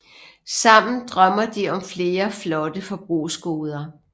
Sammen drømmer de om flere flotte forbrugsgoder